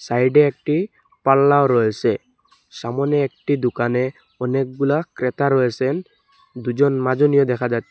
সাইডে একটি পাল্লাও রয়েসে সামোনে একটি দুকানে অনেকগুলা ক্রেতা রয়েসেন দুজন মাজনীয় দেখা যাচ্ছে।